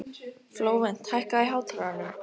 Flóvent, hækkaðu í hátalaranum.